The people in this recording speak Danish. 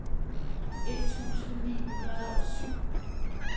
et tusind ni hundrede og syv